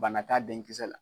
Bana t'a denkisɛ la.